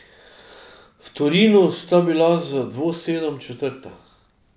V Torinu sta bila z dvosedom četrta.